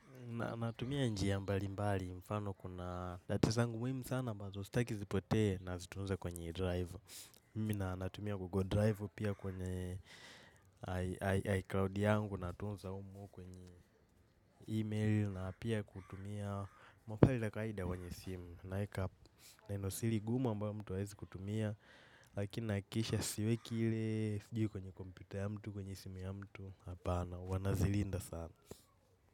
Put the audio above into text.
Natumia njia mbali mbali mfano kuna data zangu muhimu sana ambazo sitaki zipotee nazitunza kwenye drive. Mimi natumia google drive pia kwenye iCloud yangu natunza humo kwenye email na pia kutumia mafaili ya kawaida kwenye simu. Neno siri gumu ambayo mtu haezi kutumia lakini nahakikisha siweki ile sijui kwenye computer ya mtu kwenye simu ya mtu hapana huwa nazilinda sana.